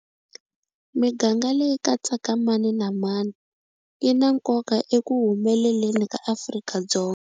Miganga leyi katsaka mani na mani yi na nkoka eku humeleleni ka Afrika-Dzonga.